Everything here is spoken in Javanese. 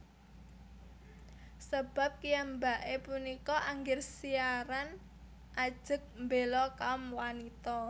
Sebab kiyambake punika angger siaran ajeg mbela kaum wanita